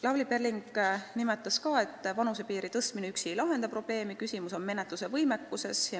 Lavly Perling nimetas ka, et vanusepiiri tõstmine üksi ei lahenda probleemi, küsimus on menetluse võimekuses.